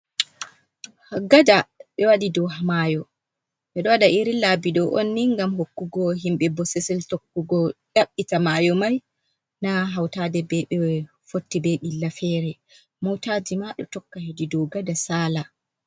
Gada be waɗi dau mayo, ɓe do wada irin labi ɗo un ni ngam hokkugo himbe bososel tokkugo yaɓɓita mayo mai na hautade ɓe fotti ɓe ɓilla fere. MOOtaji maa ɗo tokka hedi dau gada saala.